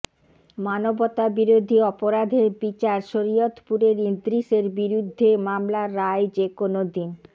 মানবতাবিরোধী অপরাধের বিচার শরীয়তপুরের ইদ্রিসের বিরুদ্ধে মামলার রায় যেকোনো দিন